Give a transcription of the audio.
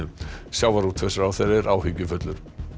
sjávarútvegsráðherra er áhyggjufullur